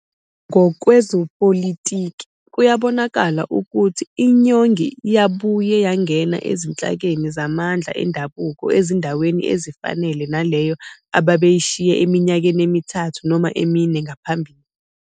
Ngokwezepolitiki, kuyabonakala ukuthi iNyongik yabuye yangena ezinhlakeni zamandla endabuko ezindaweni ezifanayo naleyo ababeyishiye eminyakeni emithathu noma emine ngaphambili.